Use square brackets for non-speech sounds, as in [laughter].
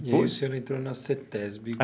[unintelligible] o senhor entrou na cêtésbe.